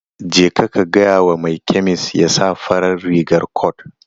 Jeka ka gaya wa mai kemis ya sa farar rigar cot.